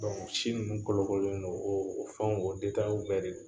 Si ninnu kolokololen non o fɛnw, o bɛɛ de la ?